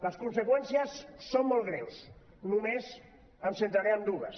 les conseqüències són molt greus només em centraré en dues